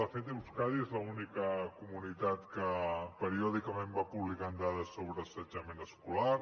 de fet euskadi és l’única comunitat que periòdicament va publicant dades sobre assetjament escolar